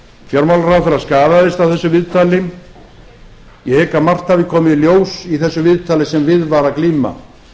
fjármálaráðherra skaðaðist af þessu viðtali ég hygg að margt hafi komið í ljós í þessu viðtali sem við var að glíma